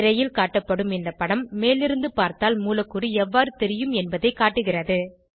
திரையில் காட்டப்படும் இந்த படம் மேலிருந்து பார்த்தால் மூலக்கூறு எவ்வாறு தெரியும் என்பதைக் காட்டுகிறது